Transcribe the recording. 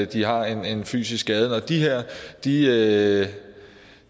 de har en fysisk skade at de at